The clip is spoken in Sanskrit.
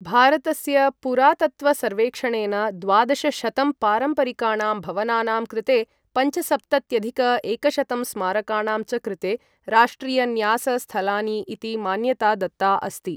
भारतस्य पुरातत्त्वसर्वेक्षणेन द्वादशशतं पारम्परिकाणां भवनानां कृते, पञ्चसप्तत्यधिक एकशतं स्मारकाणां च कृते, राष्ट्रिय न्यास स्थलानि इति मान्यता दत्ता अस्ति।